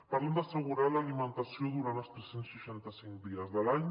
parlen d’assegurar l’alimentació durant els tres cents i seixanta cinc dies de l’any